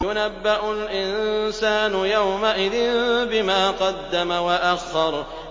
يُنَبَّأُ الْإِنسَانُ يَوْمَئِذٍ بِمَا قَدَّمَ وَأَخَّرَ